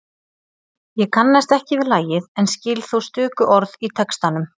Ég kannast ekki við lagið en skil þó stöku orð í textanum.